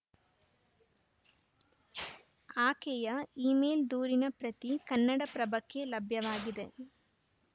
ಆಕೆಯ ಇಮೇಲ್‌ ದೂರಿನ ಪ್ರತಿ ಕನ್ನಡಪ್ರಭಕ್ಕೆ ಲಭ್ಯವಾಗಿದೆ